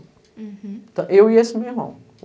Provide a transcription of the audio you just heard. Hueum. Então, eu e esse meu irmão.